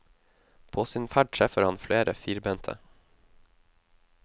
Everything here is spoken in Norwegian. På sin ferd treffer han flere firbente.